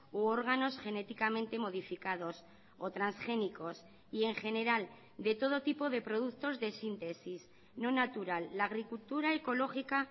u órganos genéticamente modificados o transgénicos y en general de todo tipo de productos de síntesis no natural la agricultura ecológica